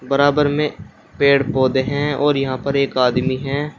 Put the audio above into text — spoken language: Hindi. बराबर में पेड़ पौधे हैं और यहां पर एक आदमी है।